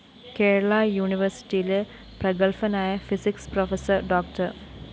കേരള യൂണിവേഴ്‌സിറ്റിയിലെ പ്രഗത്ഭനായ physics professor ഡോ